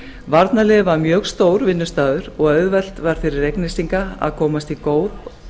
varnarliðið var mjög stór vinnustaður og auðvelt var fyrir reyknesinga að komast í góð